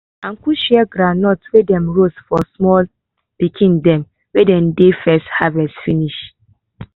uncle share groundnuts wey dem roast to small pikn dem wen de first harvest finish